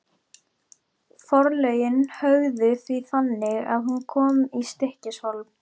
Forlögin höguðu því þannig að hún kom í Stykkishólm.